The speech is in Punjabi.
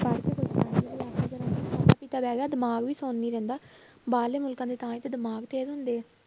ਦਿਮਾਗ ਵੀ ਸੁੰਨ ਹੀ ਰਹਿੰਦਾ, ਬਾਹਰਲੇ ਮੁਲਕਾਂ ਦੇ ਤਾਂ ਹੀ ਤੇ ਦਿਮਾਗ ਤੇਜ਼ ਹੁੰਦੇ ਆ